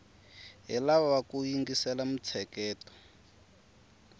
hi lava ku yingisela mintsheketo